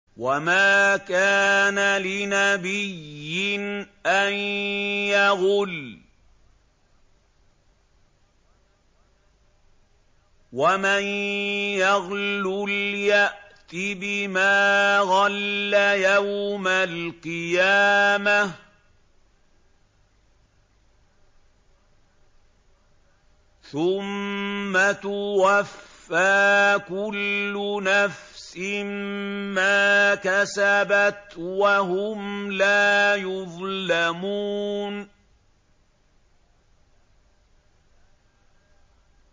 وَمَا كَانَ لِنَبِيٍّ أَن يَغُلَّ ۚ وَمَن يَغْلُلْ يَأْتِ بِمَا غَلَّ يَوْمَ الْقِيَامَةِ ۚ ثُمَّ تُوَفَّىٰ كُلُّ نَفْسٍ مَّا كَسَبَتْ وَهُمْ لَا يُظْلَمُونَ